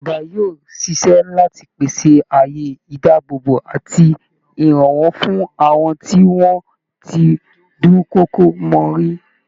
Ìjọba yóò ṣiṣẹ́ láti pèsè àyè ìdáàbòbò àti ìrànwọ́ fún àwọn tí wọ́n ti dúnkokò mọ́ rí